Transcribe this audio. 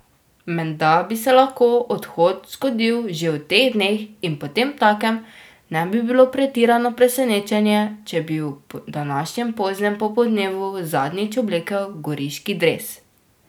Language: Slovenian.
Menda bi se lahko odhod zgodil že v teh dneh in potemtakem ne bi bilo pretirano presenečenje, če bi v današnjem poznem popoldnevu zadnjič oblekel goriški dres.